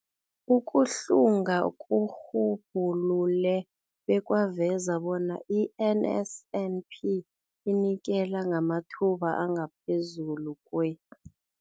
Ukuhlunga kurhubhulule bekwaveza bona i-NSNP inikela ngamathuba angaphezulu kwe-